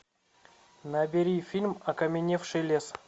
набери фильм окаменевший лес